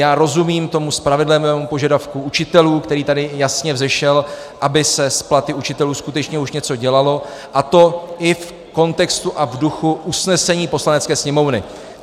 Já rozumím tomu spravedlivému požadavku učitelů, který tady jasně vzešel, aby se s platy učitelů skutečně už něco dělalo, a to i v kontextu a v duchu usnesení Poslanecké sněmovny.